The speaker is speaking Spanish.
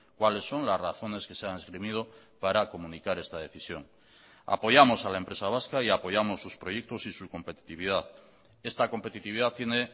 cuáles son las razones que se han esgrimido para comunicar esta decisión apoyamos a la empresa vasca y apoyamos sus proyectos y su competitividad esta competitividad tiene